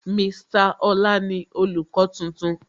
Mr Ọlá ni olùkọ́ tuntun